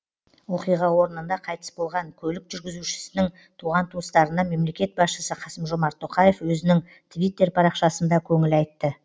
оқиға орнында қайтыс болған көлік жүргізушісінің туған туыстарына мемлекет басшысы қасым жомарт тоқаев өзінің твиттер парақшасында көңіл айтты